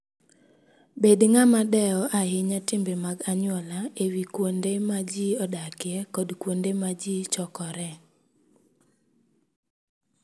Bed ng'ama dewo ahinya timbe mag anyuola e wi kuonde ma ji odakie kod kuonde ma ji chokoree.